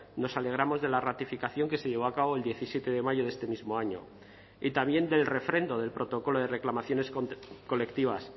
nos alegramos de la ratificación que se llevó a cabo el diecisiete de mayo de este mismo año y también del refrendo del protocolo de reclamaciones colectivas